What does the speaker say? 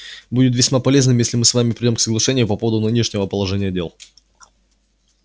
будет весьма полезным если мы с вами придём к соглашению по поводу нынешнего положения дел